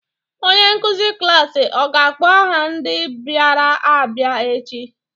Onye nkuzi klaasị ọ ga-akpọ aha ndị bịara abịa echi?